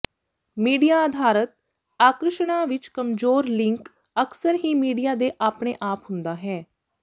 media ਅਧਾਰਿਤ ਆਕਰਸ਼ਣਾਂ ਵਿੱਚ ਕਮਜੋਰ ਲਿੰਕ ਅਕਸਰ ਹੀ ਮੀਡੀਆ ਦੇ ਆਪਣੇ ਆਪ ਹੁੰਦਾ ਹੈ